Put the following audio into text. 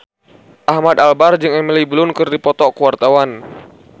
Ahmad Albar jeung Emily Blunt keur dipoto ku wartawan